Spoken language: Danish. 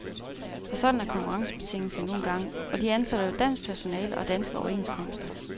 For sådan er konkurrencebetingelser nu engang, og de ansætter jo dansk personale og har danske overenskomster.